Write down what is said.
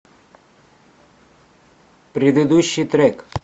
предыдущий трек